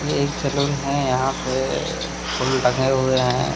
एक सैलून है यहां पे फूल टंगे हुए हैं।